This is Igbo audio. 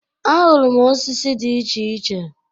Ahụrụ m osisi di iche iche.